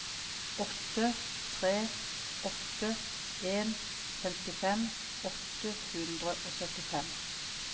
åtte tre åtte en femtifem åtte hundre og syttifem